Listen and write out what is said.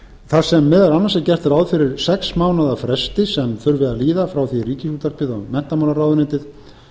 þar sem meðal annars er gert ráð fyrir sex mánaða fresti sem þurfi að aðila frá því að ríkisútvarpið eða menntamálaráðuneytið